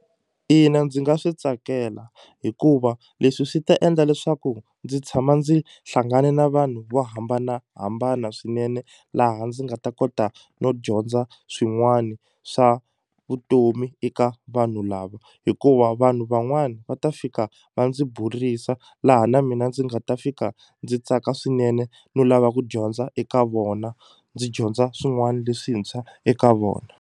Ina ndzi nga swi tsakela hikuva leswi swi ta endla leswaku ndzi tshama ndzi hlangane na vanhu vo hambanahambana swinene laha ndzi nga ta kota no dyondza swin'wani swa vutomi eka vanhu lava hikuva vanhu van'wani va ta fika va ndzi burisa laha na mina ndzi nga ta fika ndzi tsaka swinene no lava ku dyondza eka vona ndzi dyondza swin'wani leswintshwa eka vona.